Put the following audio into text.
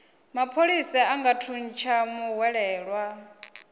mapholisa a nga thuntsha muhwelelwa